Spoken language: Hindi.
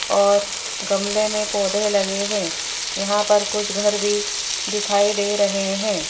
और गमले में पौधे लगे हैं यहां पर कुछ घर भी दिखाई दे रहे है।